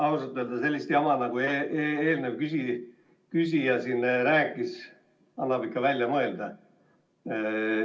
Ausalt öeldes sellist jama, nagu eelnev küsija rääkis, annab ikka välja mõelda.